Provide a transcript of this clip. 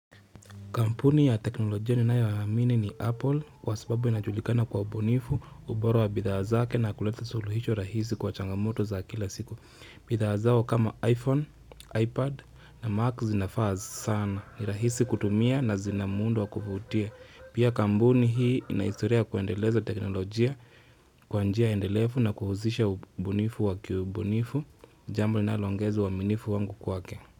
Kampuni ya teknolojia ninayoamini ni Apple kwa sababu inajulikana kwa ubunifu, ubora wa bidhaa zake na kuleta suluhisho rahisi kwa changamoto za kila siku. Bidhaa zao kama iPhone, iPad na Mac zinafaa sana, ni rahisi kutumia na zina muundo wa kuvutia. Pia kampuni hii ina historia ya kuendeleza teknolojia kwa njia endelefu na kuhusisha ubunifu wa kiubunifu, jambo linaloongeza uaminifu wangu kwake.